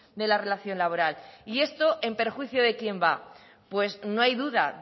de la relación laboral y esto en perjuicio de quién va pues no hay duda